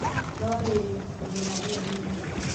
No rĩrĩ, mĩmera ĩyo nĩ mĩhũthũ.